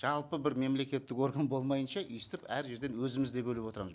жалпы бір мемлекеттік орган болмайыннша өйстіп әр жерден өзіміз де бөліп отырамыз